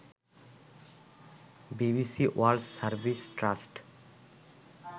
BBC World Service trust